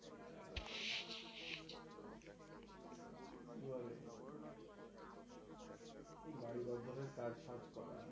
এই বাড়ীর অধিনে কাজ-ফাজ করা.